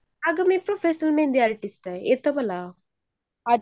आग मी profession mehndi artist आहे येत मला